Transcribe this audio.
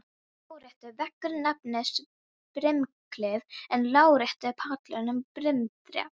Lóðrétti veggurinn nefnist brimklif en lárétti pallurinn brimþrep.